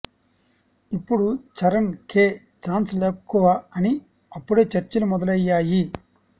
ఇప్పుడు చరణ్ కె చాన్స్ లేక్కువ అని అప్పుడే చర్చలు మొదలయ్యాయి